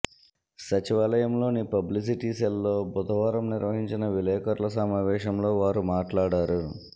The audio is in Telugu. సచివాలయంలోని పబ్లిసిటీ సెల్ లో బుధవారం నిర్వహించిన విలేకరులు సమావేశంలో వారు మాట్లాడారు